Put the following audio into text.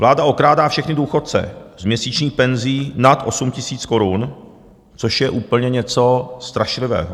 Vláda okrádá všechny důchodce s měsíční penzí nad 8 000 korun, což je úplně něco strašlivého.